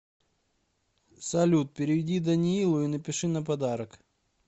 салют переведи даниилу и напиши на подарок